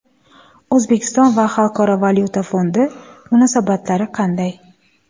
O‘zbekiston va Xalqaro valyuta fondi munosabatlari qanday?